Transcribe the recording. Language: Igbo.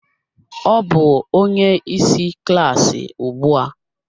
Ọ bụ onye isi klaasị ugbu a